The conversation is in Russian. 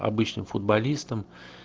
обычно футболистом